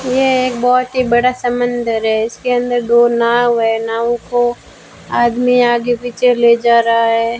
यह एक बहोत ही बड़ा सा मंदिर है इसके अंदर दो ना वह नावों को आदमी आगे पीछे ले जा रहा है।